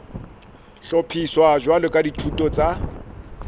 hlophiswa jwalo ka dithuto tsa